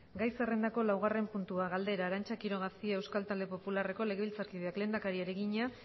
gai zerrendako laugarren puntua galdera arantza quiroga cia euskal talde popularreko legebiltzarkideak lehendakariari egina